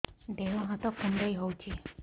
ଦେହ ହାତ କୁଣ୍ଡାଇ ହଉଛି